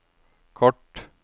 kort